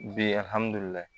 Bi alihamudulilayi